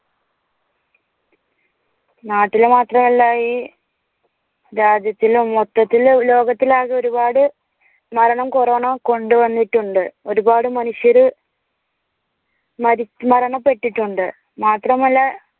നാട്ടിലു മാത്രമല്ല ഈ രാജ്യത്തിലു മൊത്തത്തില് ലോകത്തില് ആകെ ഒരുപാട്മരണം കൊറോണ കൊണ്ടുവന്നിട്ടുണ്ട്. ഒരുപാട് മനുഷ്യരു മരിമരണപ്പെട്ടിട്ടുണ്ട് മാത്രമല്ല